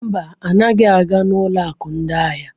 Mba, anaghị aga ụlọ akụ ndị ahịa.